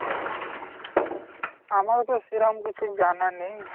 আমার তো সেরকম কিছু জানা নেই।